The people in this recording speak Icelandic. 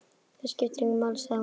Það skiptir engu máli, sagði hún.